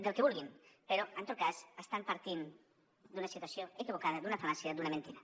del que vulguin però en tot cas estan partint d’una situació equivocada d’una fal·làcia d’una mentida